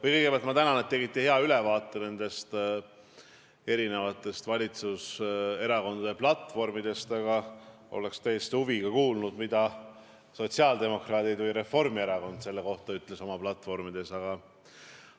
Või kõigepealt ma tänan, et tegite hea ülevaate nendest erinevatest valitsuserakondade platvormidest, aga oleks täiesti huviga kuulnud, mida sotsiaaldemokraadid või Reformierakond selle kohta oma platvormides ütlesid.